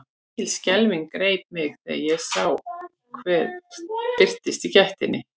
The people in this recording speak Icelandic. Mikil skelfing greip mig þegar ég sá hver birtist í gættinni.